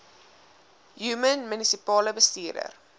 human munisipale bestuurder